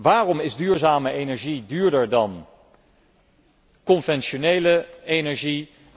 Waarom is duurzame energie duurder dan conventionele energie?